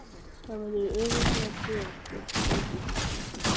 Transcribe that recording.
Það verður örugglega bréf með skipinu til þín.